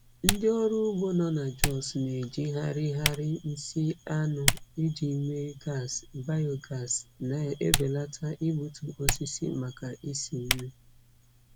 Ndị ọrụ ugbo nọ na Jos na-ejigharịgharị nsị anụ iji mee gas biogas, na-ebelata igbutu osisi maka isi nri.